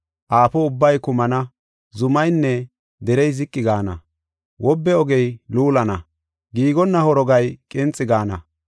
Aafo ubbay kumana, zumaynne derey ziqi gaana. Wobbe ogey luulana, giigonna horogay qinxi gaana.